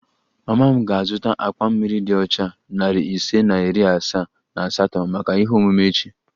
Mama m ga-azụta akpa mmiri dị ọcha narị ise na iri asaa na asatọ maka ihe omume echi